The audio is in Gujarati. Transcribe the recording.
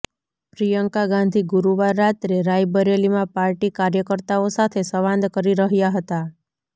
પ્રિયંકા ગાંધી ગુરુવાર રાત્રે રાયબરેલીમાં પાર્ટી કાર્યકર્તાઓ સાથે સંવાદ કરી રહ્યાં હતાં